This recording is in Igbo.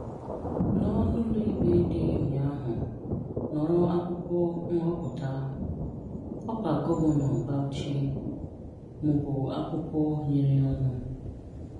nọ n'ụlọ ikpe dị ụnyaahụ nọrọ akwụkwọ nghọpụta ọkwa gọvanọ Baụchi mụ bụ akwụkwọ nyerụ ọnụ